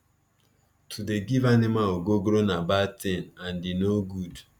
to dey give animal ogogoro na bad tin and e no good